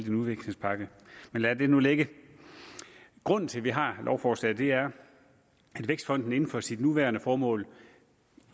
en udviklingspakke men lad det nu ligge grunden til at vi har lovforslaget her er at vækstfonden inden for sit nuværende formål